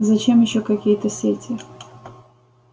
зачем ещё какие-то сети